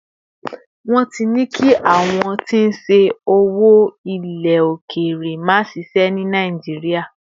won ti ní kí àwọn tí n ṣe owó ile okere ma ṣiṣẹ ni nàìjíría